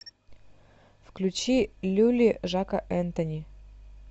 включи люли жака энтони